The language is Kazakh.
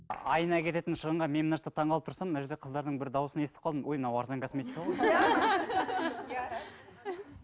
айына кететін шығынға мен мына жақта таңқалып тұрсам мына жерде қыздардың бір дауысын естіп қалдым ой мынау арзан косметика ғой